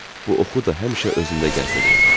Bu oxu da həmişə özümdə gəzdirirəm.